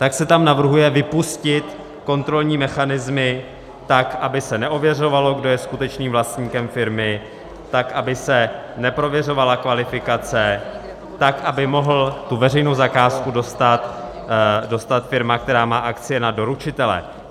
Tak se tam navrhuje vypustit kontrolní mechanismy tak, aby se neověřovalo, kdo je skutečným vlastníkem firmy, tak, aby se neprověřovala kvalifikace, tak, aby mohla tu veřejnou zakázku dostat firma, která má akcie na doručitele.